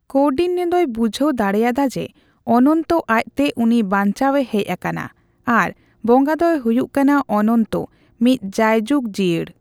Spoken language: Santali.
ᱠᱳᱱᱰᱤᱱᱱᱚ ᱫᱚᱭ ᱵᱩᱡᱷᱟᱹᱣ ᱫᱟᱲᱮᱭᱟᱫᱟ ᱡᱮ ᱚᱱᱚᱱᱛᱚ ᱟᱡᱛᱮ ᱩᱱᱤ ᱵᱟᱧᱪᱟᱣᱮ ᱦᱮᱡ ᱟᱠᱟᱱᱟ ᱟᱨ ᱵᱚᱸᱜᱟ ᱫᱚᱭ ᱦᱩᱭᱩᱜ ᱠᱟᱱᱟ ᱚᱱᱚᱱᱛᱚ, ᱢᱤᱫ ᱡᱟᱭᱡᱩᱜᱽ ᱡᱤᱭᱟᱹᱲ ᱾